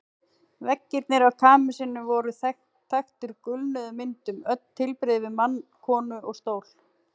Veggirnir í kamesinu voru þaktir gulnuðum myndum, öll tilbrigði við mann, konu og stól.